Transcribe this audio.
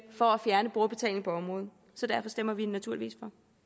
for at fjerne brugerbetaling på området så derfor stemmer vi naturligvis